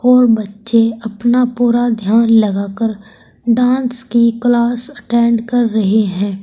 और बच्चे अपना पूरा ध्यान लगा कर डांस की क्लास अटेंड कर रहे हैं।